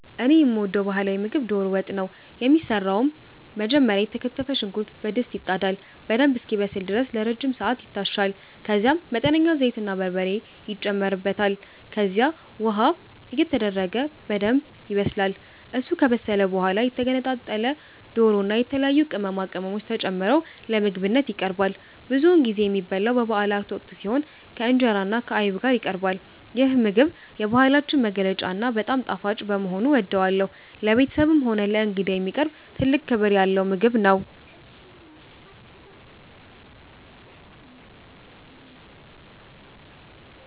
እኔ የምወደው ባህላዊ ምግብ ዶሮ ወጥ ነው። የሚሰራውም መጀመሪያ የተከተፈ ሽንኩርት በድስት ይጣዳል፤ በደንብ እስኪበስል ድረስ ለረጅም ሰዓት ይታሻል፤ ከዛም መጠነኛ ዘይትና በርበሬ ይጨመርበታል። ከዚያም ውሃ እየተደረገ በደንብ ይበሰላል። እሱ ከበሰለ በኋላ የተገነጣጠለ ዶሮና የተለያዩ ቅመማ ቅመሞች ተጨምረው ለምግብነት ይቀርባል። ብዙውን ጊዜ የሚበላው በበአላት ወቅት ሲሆን፣ ከእንጀራና ከአይብ ጋር ይቀርባል። ይህ ምግብ የባህላችን መገለጫና በጣም ጣፋጭ በመሆኑ እወደዋለሁ። ለቤተሰብም ሆነ ለእንግዳ የሚቀርብ ትልቅ ክብር ያለው ምግብ ነው።